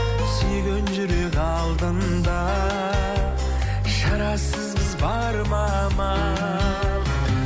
сүйген жүрек алдында шарасызбыз бар ма амал